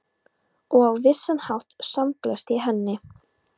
Og á vissan hátt samgleðst ég henni.